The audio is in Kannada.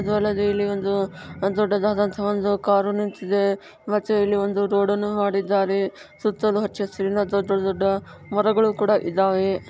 ಅದು ಅಲ್ಲದೆ ಇಲ್ಲಿ ಒಂದು ದೊಡ್ಡದಾದಂತಹ ಒಂದು ಕಾರು ನಿಂತಿದೆ ಮತ್ತೆ ಇಲ್ಲಿ ಒಂದು ರೋಡನ್ನು ಮಾಡಿದ್ದಾರೆ. ಸುತ್ತಲೂ ಹಚ್ಚ ಹಸಿರಿನಿಂದ ಅಥವಾ ದೊಡ್ಡ್ ದೊಡ್ಡ ಮರಗಳು ಕೂಡ ಇದಾವೆ.